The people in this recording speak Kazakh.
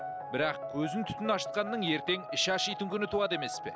бірақ өзін түтін ашытқанның ертең іші ашитын күн туады емес пе